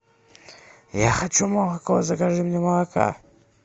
я хочу молоко закажи мне молока